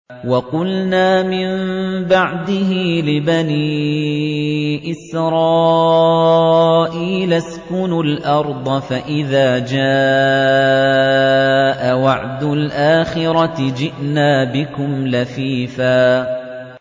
وَقُلْنَا مِن بَعْدِهِ لِبَنِي إِسْرَائِيلَ اسْكُنُوا الْأَرْضَ فَإِذَا جَاءَ وَعْدُ الْآخِرَةِ جِئْنَا بِكُمْ لَفِيفًا